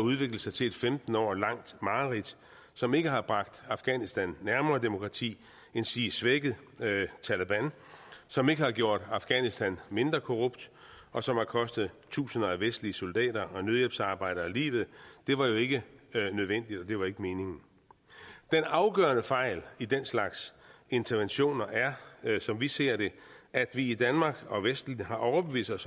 udviklede sig til et femten år langt mareridt som ikke har bragt afghanistan nærmere demokrati endsige svækket taleban som ikke har gjort afghanistan mindre korrupt og som har kostet tusinder af vestlige soldater og nødhjælpsarbejdere livet var ikke nødvendigt det var ikke meningen den afgørende fejl i den slags interventioner er som vi ser det at vi i danmark og vesten har overbevist os